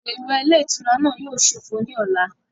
Odò ìwẹ̀ ilé ìtura náà yíò sófo ní ọ̀la